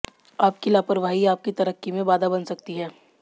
आपकी लापरवाही आपकी तरक्की में बाधा बन सकती है